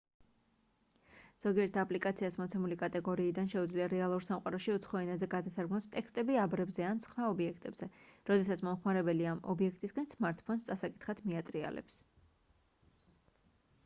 ზოგიერთ აპლიკაციას მოცემული კატეგორიიდან შეუძლია რეალურ სამყაროში უცხო ენაზე გადათარგმნოს ტექსტები აბრებზე ან სხვა ობიექტებზე როდესაც მომხმარებელი ამ ობიექტისკენ სმარტფონს წასაკითხად მიატრიალებს